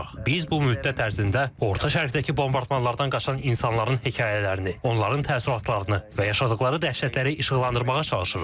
Biz bu müddət ərzində Orta Şərqdəki bombardmanlardan qaçan insanların hekayələrini, onların təəssüratlarını və yaşadıqları dəhşətləri işıqlandırmağa çalışırıq.